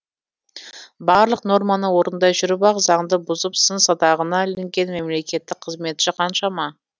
барлық норманы орындай жүріп ақ заңды бұзып сын садағына ілінген мемлекеттік қызметші қаншама